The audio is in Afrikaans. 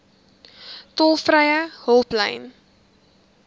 tolvrye hulplyn